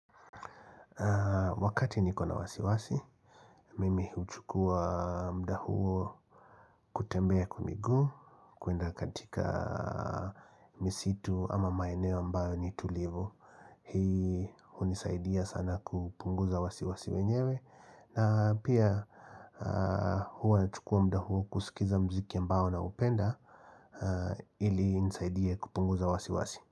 Wakati nikona wasiwasi, mimi huchukua muda huo kutembea kwa miguu, kuenda katika misitu ama maeneo ambayo ni tulivo Hii hunisaidia sana kupunguza wasiwasi wenyewe na pia huwa nachukua muda huo kusikiza mziki ambayo naupenda ili inisaidie kupunguza wasiwasi.